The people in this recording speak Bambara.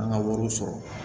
An ka wariw sɔrɔ